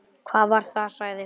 Hvað var það? sagði hún.